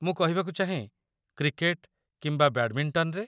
ମୁଁ କହିବାକୁ ଚାହେଁ, କ୍ରିକେଟ୍, କିମ୍ବା ବ୍ୟାଡମିଣ୍ଟନରେ।